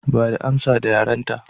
Bada amsa da yarenta